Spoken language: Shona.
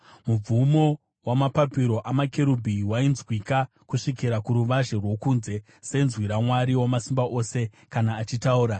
Mubvumo wamapapiro amakerubhi wainzwika kusvikira kuruvazhe rwokunze, senzwi raMwari Wamasimba Ose kana achitaura.